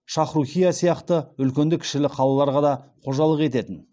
шахрухийя сияқты үлкенді кішілі қалаларға да қожалық ететін